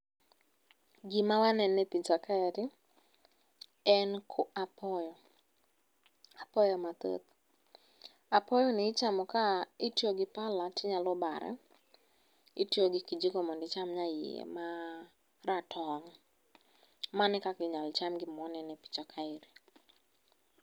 Gima waneno e picha kaeri en apoyo. Apoyo mathoth. Apoyoni ichamo ka itiyo gi pala tinyalo bare, itiyo gi kijiko mondo icham nyaiye maratong'. Mano e kaka inyalo cham gima waneno epicha kaeni.